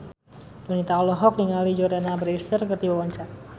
Donita olohok ningali Jordana Brewster keur diwawancara